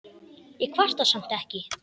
Ég kvarta samt ekki.